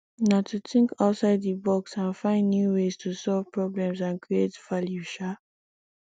na to think outside di box and find new ways to solve problems and create value um